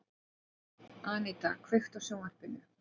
Aníta, kveiktu á sjónvarpinu.